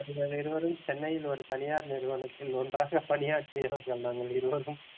நாங்கள் இருவரும் சென்னையில் ஒரு தனியார் நிறுவனத்தில் ஒன்றாக பணியாற்றுகிறோம் நாங்கள் இருவரும்